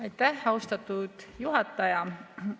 Aitäh, austatud juhataja!